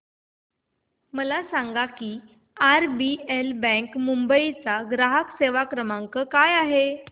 मला सांगा की आरबीएल बँक मुंबई चा ग्राहक सेवा क्रमांक काय आहे